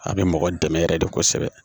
A bɛ mɔgɔ dɛmɛ yɛrɛ de kosɛbɛ